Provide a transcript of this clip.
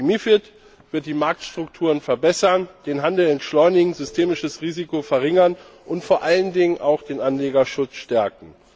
Die MiFID wird die Marktstrukturen verbessern, den Handel entschleunigen, systemisches Risiko verringern und vor allen Dingen auch den Anlegerschutz stärken.